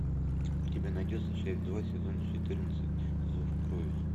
у тебя найдется часть два сезон четырнадцать зов крови